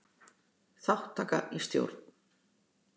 Þátttaka í stjórn.